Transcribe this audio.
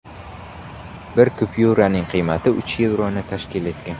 Bir kupyuraning qiymati uch yevroni tashkil etgan.